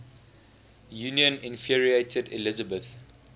union infuriated elizabeth